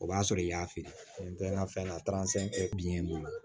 O b'a sɔrɔ i y'a feere ntɛmɛ fɛn na bi bolo